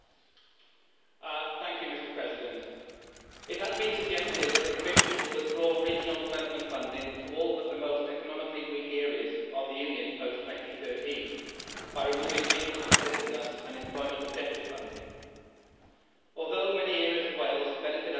Mr President, it has been suggested that the Commission will withdraw regional development funding to all but the most economically weak areas of the Union post 2013 by removing Regional Competitiveness and Employment Objective funding. Although many areas of Wales benefit under the Convergence Objective,